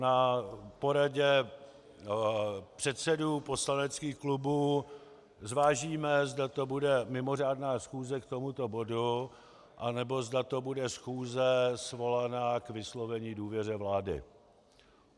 Na poradě předsedů poslaneckých klubů zvážíme, zda to bude mimořádná schůze k tomuto bodu, anebo zda to bude schůze svolaná k vyslovení důvěře vlády.